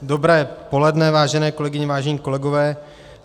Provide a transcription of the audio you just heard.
Dobré poledne, vážené kolegyně, vážení kolegové.